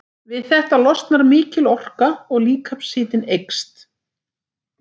Við þetta losnar mikil orka og líkamshitinn eykst.